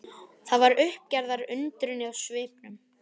Það var uppgerðar undrun í svipnum.